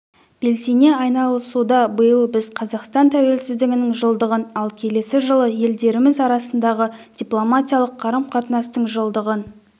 белсене айналысуда биыл біз қазақстан тәуелсіздігінің жылдығын ал келесі жылы елдеріміз арасындағы дипломатиялық қарым-қатынастың жылдығын